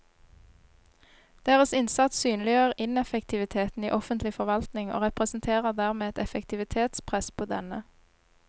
Deres innsats synliggjør ineffektiviteten i offentlig forvaltning og representerer dermed et effektivitetspress på denne.